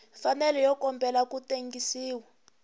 mfanelo yo kombela ku tengisiwa